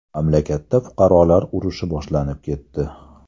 Mamlakatda fuqarolar urushi boshlanib ketdi.